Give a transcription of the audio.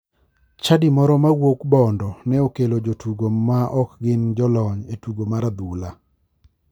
Chadi moro ma owuok bondo ne okelo jotugo ma ok gin jolony e tugo mar adhula.